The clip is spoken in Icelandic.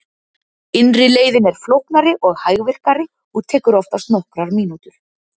Innri leiðin er flóknari og hægvirkari og tekur oftast nokkrar mínútur.